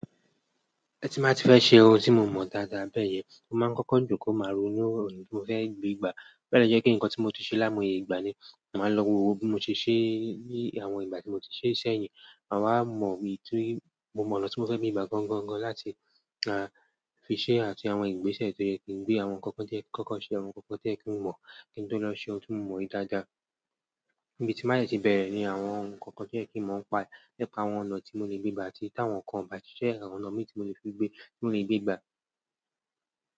Ẹ tí mbá ti fẹ́ ṣe ohun tí mo mọ dáadáa bẹ́ẹ̀ yẹn, mó máa ń kọ́kọ́ ń jòkó máa rònu iru ọ̀nà ti mó fẹ́ gbé gbà. Bẹ́ẹ̀ lọ jẹ́ pé nǹkan tí mo ti ṣe láimoye ìgbà ni, màá lọ wo bí mo ti ṣe ní àwọn ìgbà tí mo ti ṣe ṣẹ́yìn, màá wá mọ̀ bí mo mọ̀ ọ̀nà tí mo fẹ́ fi gbà gan-an-gan láti fi ṣe àti àwọn ìgbésẹ̀ tó yẹ kí ń gbé àwọn ǹkan kan to ye kin koko ṣe àwọn ǹkan kan tí o yẹ́ kí ń mọ̀ kí n tó lọ ṣe ohun tí mo mọ yí dáadáa. Ibi tí n ba si ti bẹ̀rẹ̀ ni àwọn ǹkan kan tí ẹ́ kí ń mọ̀ ń pa lẹ́pa àwọn ọ̀nà tí mo lè gbé gbà àti táwọn kan bàjẹ́ ẹ̀rọ ọ̀nà mi tí mo lè fi gbé, tí mo lè gbé gbà.